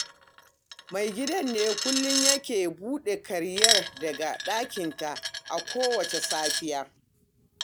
Maigidan ne kullum yake buɗe karyar daga ɗakinta a kowacce safiya